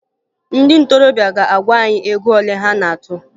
Ndị ntorobịa ga-agwa anyị ego ole a na-atụ